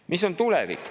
Milline on tulevik?